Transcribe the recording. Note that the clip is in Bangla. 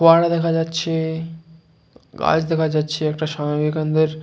ফোয়ারা দেখা যাচ্ছে গাছ দেখা যাচ্ছে একটা সোনালি রঙের ।